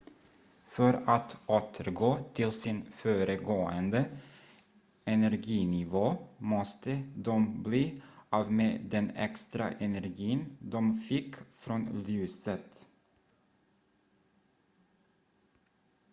för att återgå till sin föregående energinivå måste de bli av med den extra energin de fick från ljuset